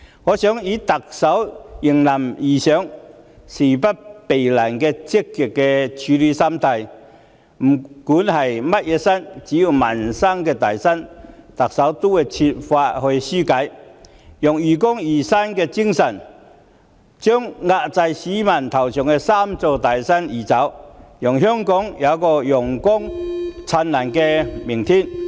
我想以特首迎難而上、事不避難的積極處事心態，不管是甚麼山，只要是民生"大山"，特首都會設法紓解，用愚公移山的精神將壓在市民頭上的"三座大山"移走，讓香港有個陽光燦爛的明天。